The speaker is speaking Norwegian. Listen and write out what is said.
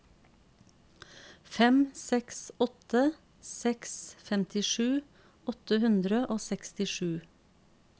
fem seks åtte seks femtisju åtte hundre og sekstisju